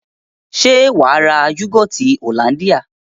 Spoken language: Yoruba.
Se waa ra yogoti hollandia?